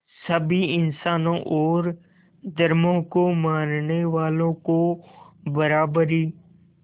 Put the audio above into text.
सभी इंसानों और धर्मों को मानने वालों को बराबरी